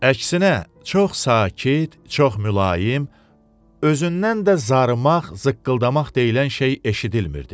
Əksinə, çox sakit, çox mülayim, özündən də zarımaq, zıqqıldamaq deyilən şey eşidilmirdi.